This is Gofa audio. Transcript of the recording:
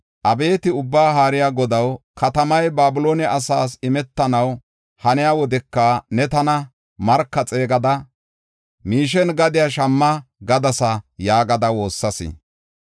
Abeeti Ubbaa Haariya Godaw, katamay Babiloone asaas imetanaw haniya wodeka ne tana, ‘Marka xeegada, miishen gadiya shamma’ gadasa” yaagada woossas.